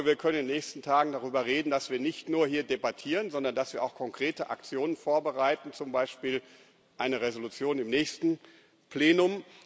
Ich hoffe, wir können in den nächsten Tagen darüber reden, dass wir hier nicht nur debattieren, sondern dass wir auch konkrete Aktionen vorbereiten, zum Beispiel eine Entschließung im nächsten Plenum.